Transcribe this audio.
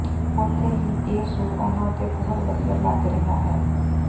ਉੱਥੇ ਹੀ ਇਹ ਸੂਟ ਉਨ੍ਹਾਂ ਉੱਤੇ ਬਹੁਤ ਵਧੀਆ ਲੱਗ ਰਿਹਾ ਹੈ